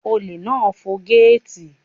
Olè náà fọ gẹ́ẹ̀tì.